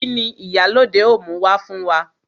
Kini Ìyálóde ó mú wá fún wa?